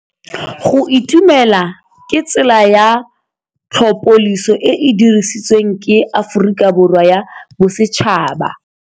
Go itumela ke tsela ya tlhapolisô e e dirisitsweng ke Aforika Borwa ya Bosetšhaba.